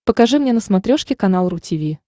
покажи мне на смотрешке канал ру ти ви